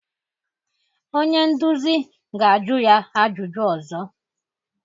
Onye nduzi ga-ajụ ya ajụjụ ọzọ.